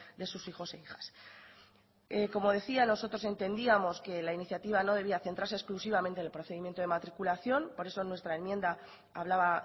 de sus hijos e hijas como decía nosotros entendíamos que la iniciativa no debía centrarse exclusivamente en el procedimiento de matriculación por eso nuestra enmienda hablaba